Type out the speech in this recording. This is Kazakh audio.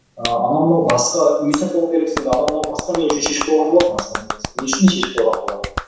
ыыы анау мынау басқа үй сатып алу керексің енді анау мынау басқа мен үшін шешіп қойған болатын асылы негізі мен үшін шешіп қойған болар